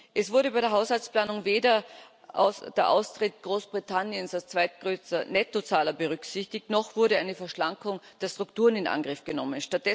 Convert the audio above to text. Es wurde bei der Haushaltsplanung weder der Austritt Großbritanniens als zweitgrößter Nettozahler berücksichtigt, noch wurde eine Verschlankung der Strukturen in Angriff genommen.